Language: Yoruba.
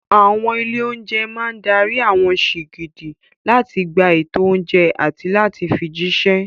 Àwọn ilé-oúnjẹ máa dárí àwọn sìgìdì láti gba ètò oúnjẹ àti láti fi jíṣẹ́.